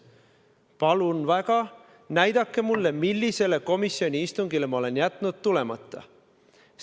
Palun väga, näidake mulle, millisele komisjoni istungile ma olen jätnud tulemata!